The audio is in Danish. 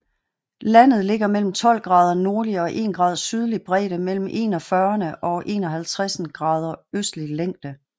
Landet ligger mellem 12 grader nordlig og 1 grad sydlig bredde mellem 41 og 51 grader østlig længde